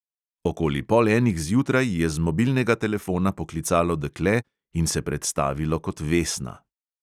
Okoli pol enih zjutraj je z mobilnega telefona poklicalo dekle in se predstavilo kot vesna.